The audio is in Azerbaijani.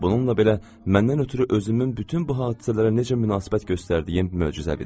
Bununla belə məndən ötrü özümün bütün bu hadisələrə necə münasibət göstərdiyim möcüzəvi idi.